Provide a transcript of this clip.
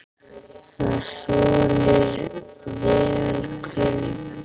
Það þolir vel kulda.